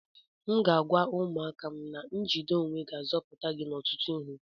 M ga-agwa ụmụaka a na njide onwe ga-azọpụta gị n'ọtụtụ ihe